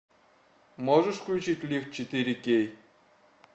можешь включить лифт четыре кей